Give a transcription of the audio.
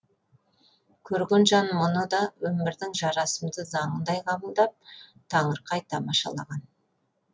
қөрген жан мұны да өмірдің жарасымды заңындай қабылдап таңырқай тамашалаған